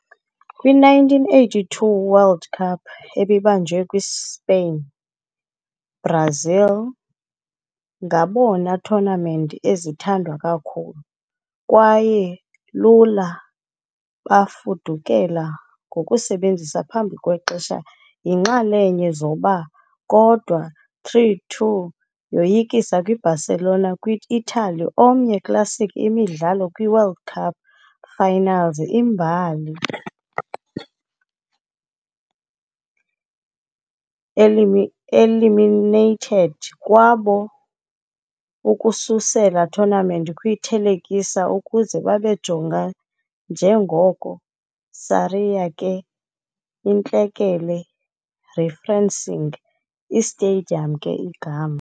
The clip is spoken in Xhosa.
Kwi - 1982 World Cup, ebibanjwe kwi-Spain, Brazil ngabona tournament ezithandwa kakhulu, kwaye lula bafudukela ngokusebenzisa phambi kwexesha yinxalenye zoba, kodwa 3-2 yoyisa kwi-Barcelona kwi-Italy, omnye classic imidlalo kwi World Cup finals imbali, eliminated kwabo ukususela tournament kwi-thelekisa ukuze babe jonga njengoko "Sarriá ke, Iintlekele", referencing i-stadium ke igama.